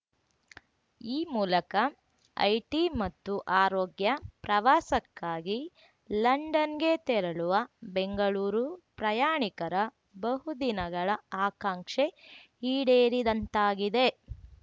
ಈ ಮೂಲಕ ಐಟಿ ಮತ್ತು ಆರೋಗ್ಯ ಪ್ರವಾಸಕ್ಕಾಗಿ ಲಂಡನ್‌ಗೆ ತೆರಳುವ ಬೆಂಗಳೂರು ಪ್ರಯಾಣಿಕರ ಬಹುದಿನಗಳ ಆಕಾಂಕ್ಷೆ ಈಡೇರಿದಂತಾಗಿದೆ